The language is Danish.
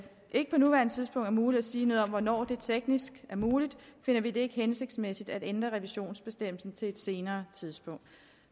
ikke på nuværende tidspunkt er muligt at sige noget om hvornår det teknisk er muligt finder vi det ikke hensigtsmæssigt at ændre revisionsbestemmelsen til et senere tidspunkt